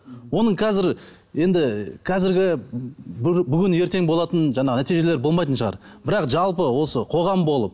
оның қазір енді қазіргі бүгін ертең болатын жаңағы нәтижелер болмайтын шығар бірақ жалпы осы қоғам болып